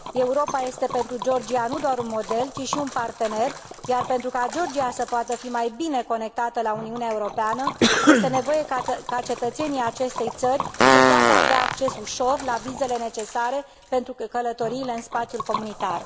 Europa este pentru Georgia nu doar un model, ci și un partener, iar pentru ca Georgia să poată fi mai bine conectată la Uniunea Europeană este nevoie ca cetățenii acestei țări să poată avea acces ușor la vizele necesare pentru călătoriile în spațiul comunitar.